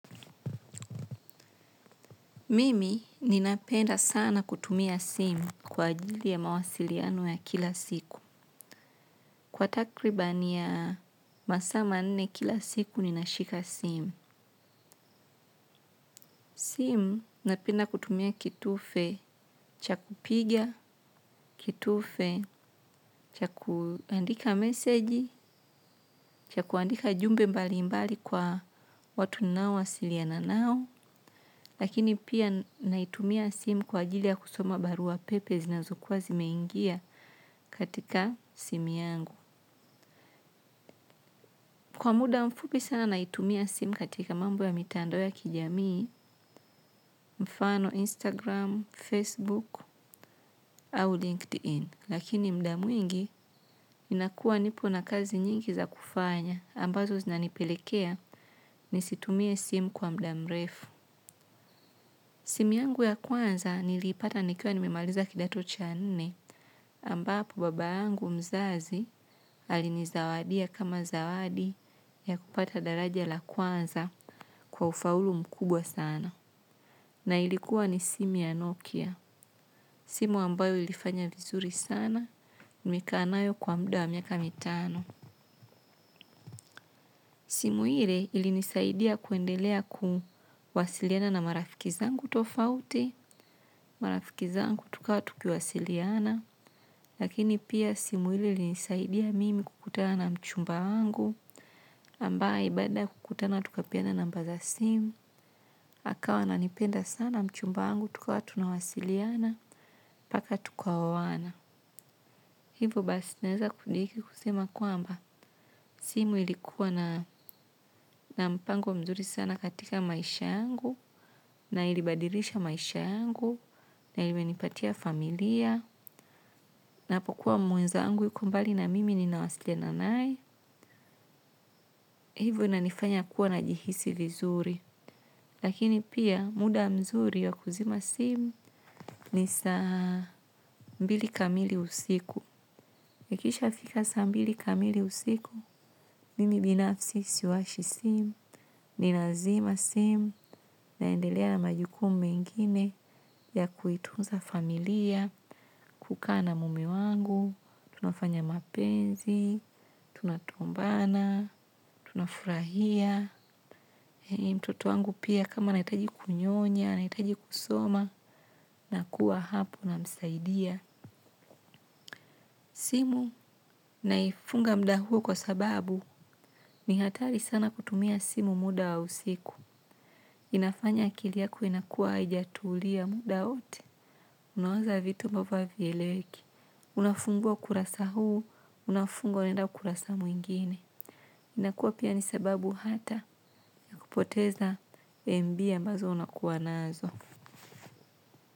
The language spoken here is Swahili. Mimi ninapenda sana kutumia simu kwa ajili ya mawasiliano ya kila siku. Kwa takribani ya masaa ma nne kila siku ninashika simu. Simu napenda kutumia kitufe cha kupigia, kitufe cha kuandika meseji, cha kuandika jumbe mbali mbali kwa watu nao wasiliana nao. Lakini pia naitumia simu kwa ajili ya kusoma barua pepe zinazo kuwa zimeingia katika simu yangu. Kwa muda mfupi sana naitumia simu katika mambo ya mitando ya kijamii, mfano Instagram, Facebook, au LinkedIn. Lakini mda mwingi inakuwa nipo na kazi nyingi za kufanya ambazo zinanipelekea ni situmia simu kwa mdamrefu. Simu yangu ya kwanza nilipata nikiwa nimimaliza kidato cha nne ambapo babayangu mzazi alinizawadia kama zawadi ya kupata daraja la kwanza kwa ufaulu mkubwa sana. Na ilikuwa ni simu ya Nokia. Simu ambayo ilifanya vizuri sana nilikaa nayo kwa muda wa miaka mitano. Simu hile ilinisaidia kuendelea kuwasiliana na marafiki zangu tofauti, marafiki zangu tuka tukiwasiliana, lakini pia simu hile ilinisaidia mimi kukutana mchumba wangu, ambaye baada kukutana tukapiana namba za simu, akawa nanipenda sana mchumba wangu tukawa tuna wasiliana, paka tukaowana. Hivu basi naweza kudiki kusema kuamba simu ilikuwa na mpango mzuri sana katika maisha yangu na ilibadilisha maisha yangu na ilimenipatia familia japokuwa mwenzangu yuko mbali na mimi ninawasiliana naye. Hivo na nifanya kuwa na jihisi li zuri. Lakini pia muda mzuri ya kuzima simu ni saa mbili kamili usiku. Ikisha fika sa mbili kamili usiku, nimi binafsi siwashi simu, ninazima simu, naendelea na majukumu mengine ya kuitunza familia, kukaa na mume wangu, tunafanya mapenzi, tunatombana, tunafurahia. Toto wangu pia kama naitaji kunyonya, na itaji kusoma, na kuwa hapu na msaidia. Simu naifunga muda huo kwa sababu ni hatari sana kutumia simu muda wa usiku. Inafanya akili yako inakua ajatulia muda hote. Unawaza vitu ambavyo avileweki. Unafungua kurasa huu, unafungua nenda kurasa mwingine. Inakua pia ni sababu hata kupoteza mb ambazo unakuwa nazo.